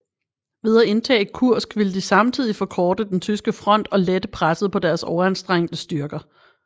Ved at indtage Kursk ville de samtidigt forkorte den tyske front og lette presset på deres overanstrengte styrker